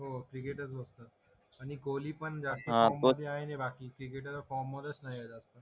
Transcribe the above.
हो क्रिकेटच बघतात आणि कोली पण फॉर्ममध्ये आहे मी बाकीचे तर फॉर्म मध्येच नाही जास्त